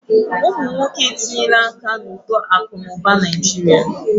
Ụmụ nwoke etinyela aka na uto akụ na ụba Naijiria.